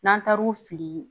N'an taar'u fili